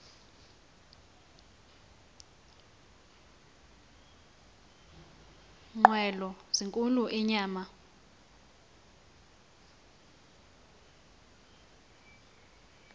nqwelo zinkulu inyama